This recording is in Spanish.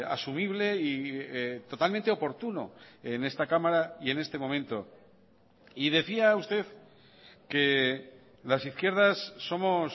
asumible y totalmente oportuno en esta cámara y en este momento y decía usted que las izquierdas somos